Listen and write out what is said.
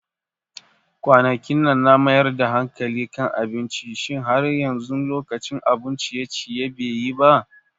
Kwanakinnan na mayar da hankali kan abinci, Shin har yanzu lokacin abun ciye-ciye be yi ba?